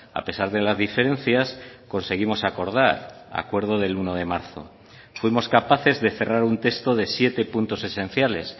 a pesar de las diferencias conseguimos acordar acuerdo del uno de marzo fuimos capaces de cerrar un texto de siete puntos esenciales